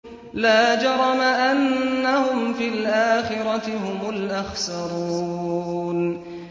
لَا جَرَمَ أَنَّهُمْ فِي الْآخِرَةِ هُمُ الْأَخْسَرُونَ